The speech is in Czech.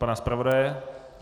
Pana zpravodaje?